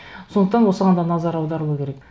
сондықтан осыған да назар аударылу керек